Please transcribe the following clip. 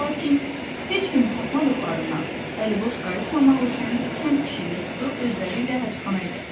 Lakin heç kimi tapmadıqlarından əliboş qayıtmamaq üçün kənd pişiyini tutub özləriylə həbsxanaya gətirdilər.